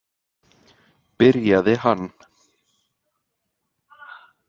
, byrjaði hann.